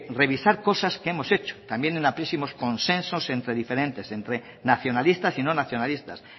revisar cosas que hemos hecho también en amplísimos consensos entre diferentes entre nacionalistas y no nacionalistas